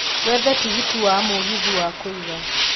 wethe tigiti wa mũgithi wa kũiga